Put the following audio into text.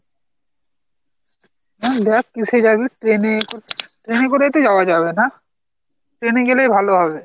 দেখ কিসে যাবি plane এ করে, plane এ করে যাওয়া হবে না, ট্রেনে গেলে ভাল হবে।